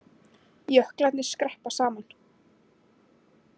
Jöklarnir skreppa saman